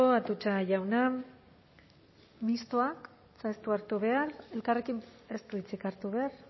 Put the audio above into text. atutxa jauna mistoak ez du hartu behar elkarrekin ez du hitzik hartu behar